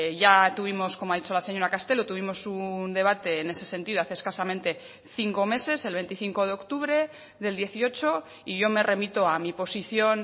ya tuvimos como ha dicho la señora castelo tuvimos un debate en ese sentido hace escasamente cinco meses el veinticinco de octubre del dieciocho y yo me remito a mi posición